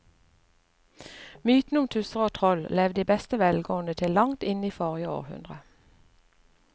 Mytene om tusser og troll levde i beste velgående til langt inn i forrige århundre.